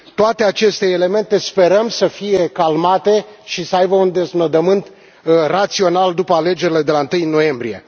Toate aceste elemente sperăm să fie calmate și să aibă un deznodământ rațional după alegerile de la 1 noiembrie.